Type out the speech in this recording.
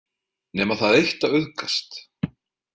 Nema það eitt að auðgast.